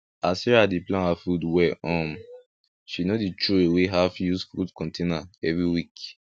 as sarah dey plan her food well um she no dey throw away half used food container every week